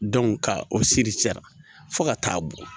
ka o fo ka taa bɔn